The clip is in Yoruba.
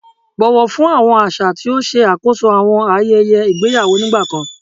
Bọwọ fun awọn aṣa ti o ṣe akoso awọn ayẹyẹ igbeyawo nigbakan